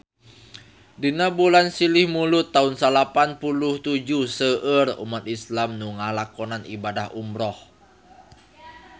Dina bulan Silih Mulud taun salapan puluh tujuh seueur umat islam nu ngalakonan ibadah umrah